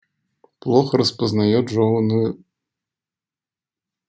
плохо распознаёт жёванную